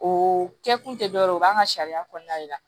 O kɛ kun tɛ dɔ wɛrɛ ye o b'an ka sariya kɔnɔna de la